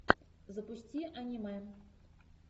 запусти аниме